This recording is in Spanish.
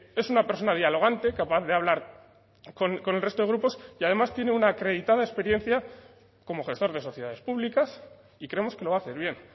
es una persona dialogante capaz de hablar con el resto de grupos y además tiene una acreditada experiencia como gestor de sociedades públicas y creemos que lo va a hacer bien